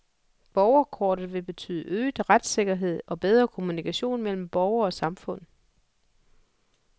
Borgerkortet vil betyde øget retssikkerhed og bedre kommunikation mellem borger og samfund.